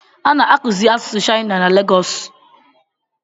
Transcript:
A na-akụzi asusụ shaịna na Legosi